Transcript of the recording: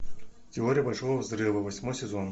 теория большого взрыва восьмой сезон